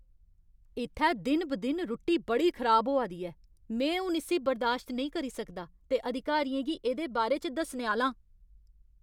इ'त्थै दिन ब दिन रुट्टी बड़ी खराब होआ दी ऐ। में हून इस्सी बर्दाश्त नेईं करी सकदा ते अधिकारियें गी एह्दे बारे च दस्सने आह्‌ला आं।